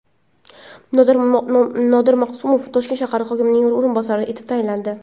Nodir Maqsumov Toshkent shahar hokimining o‘rinbosari etib tayinlandi.